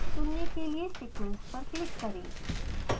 चुनने के लिए सीक्वेंस पर क्लिक करें